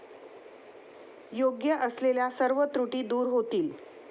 योग्य असलेल्या सर्व त्रुटी दूर होतील.